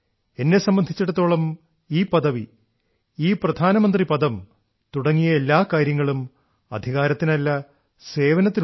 എന്നെ സംബന്ധിച്ചിടത്തോളം ഈ പദവി ഈ പ്രധാനമന്ത്രി പദം തുടങ്ങിയ എല്ലാ കാര്യങ്ങളും അധികാരത്തിനല്ല സേവനത്തിനുള്ളതാണ്